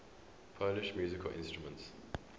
polish musical instruments